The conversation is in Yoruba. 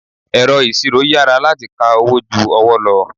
Ẹ̀rọ ìṣirò yára láti ka owó ju ọwọ́ lọ.